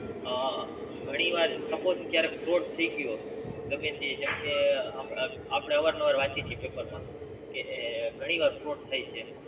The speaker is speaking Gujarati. અ ઘણી વાર Suppose ક્યારેક Fraud થાય ગયો ગમે તે જેમ કે અપડે અવાર નવાર વાંચીયી છી પેપર માં કે એ ઘણી વાર Fraud થાય છે